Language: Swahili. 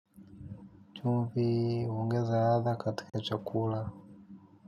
Chumvi huongeza ladha katika chakula.